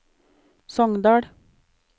Sogndal